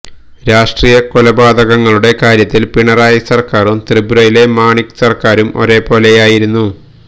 രാഷ്ട്രീയ കൊലപാതകങ്ങളുടെ കാര്യത്തില് പിണറായി സര്ക്കാരും ത്രിപുരയിലെ മണിക് സര്ക്കാരും ഒരേ പോലെയായിരുന്നു